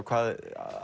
hvaðan